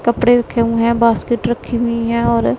कपड़े रखें हुए है बास्केट रखी हुई है और--